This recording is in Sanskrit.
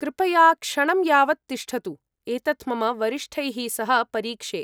कृपया क्षणं यावत् तिष्ठतु। एतत् मम वरिष्ठैः सह परीक्षे।